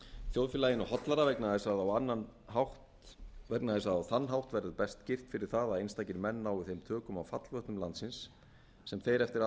þjóðfélaginu hollara vegna þess að á þann annan verður best girt fyrir það að einstakir menn nái þeim tökum á fallvötnum landsins sem þeir eftir